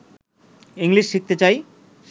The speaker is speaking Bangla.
ইংলিশ শিখতে চাই